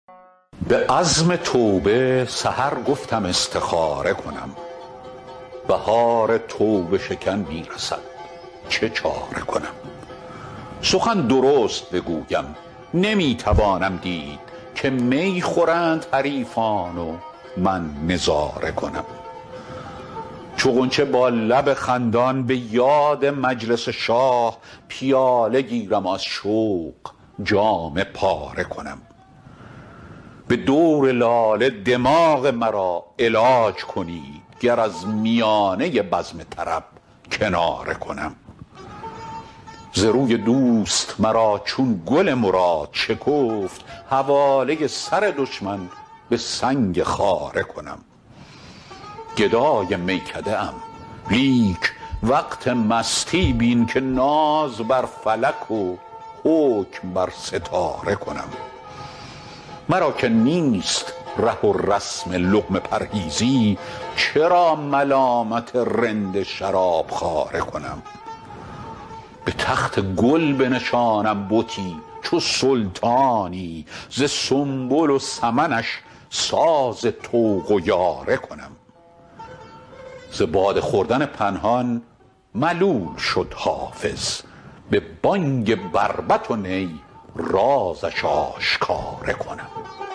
به عزم توبه سحر گفتم استخاره کنم بهار توبه شکن می رسد چه چاره کنم سخن درست بگویم نمی توانم دید که می خورند حریفان و من نظاره کنم چو غنچه با لب خندان به یاد مجلس شاه پیاله گیرم و از شوق جامه پاره کنم به دور لاله دماغ مرا علاج کنید گر از میانه بزم طرب کناره کنم ز روی دوست مرا چون گل مراد شکفت حواله سر دشمن به سنگ خاره کنم گدای میکده ام لیک وقت مستی بین که ناز بر فلک و حکم بر ستاره کنم مرا که نیست ره و رسم لقمه پرهیزی چرا ملامت رند شراب خواره کنم به تخت گل بنشانم بتی چو سلطانی ز سنبل و سمنش ساز طوق و یاره کنم ز باده خوردن پنهان ملول شد حافظ به بانگ بربط و نی رازش آشکاره کنم